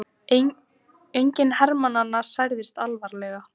Enginn hermannanna særðist alvarlega